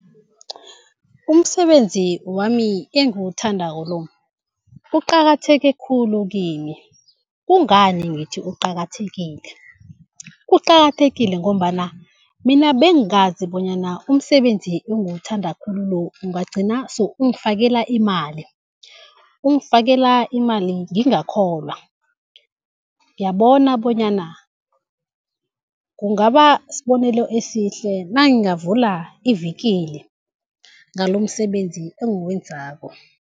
Umsebenzi wami engiwuthandako lo uqakatheke khulu kimi. Kungani ngithi uqakathekile? Uqakathekile ngombana mina bengazi bonyana umsebenzi engiwuthanda khulu lo ungagcina sewungifakela imali, ungifakela imali ngingakholwa. Ngiyabona bonyana kungaba sibonelo esihle nangingavula ivikili ngalomsebenzi engiwenzako.